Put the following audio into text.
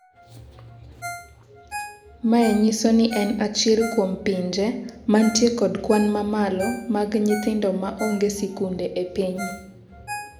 Mae nyiso ni en achiel kuom pinje mantie kod kwan mamalo mag nyithindo ma onge sikunde e piny